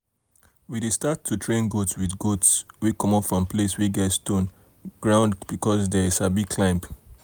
we dey um start train goat with goats wey comot from place wey get stone-stone ground because the um dey um sabi climb